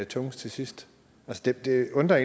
tungest til sidst det undrer